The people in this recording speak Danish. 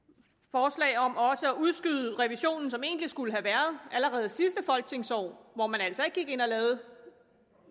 forslag om også at udskyde revisionen som egentlig skulle have været allerede i sidste folketingsår hvor man altså ikke gik ind og lavede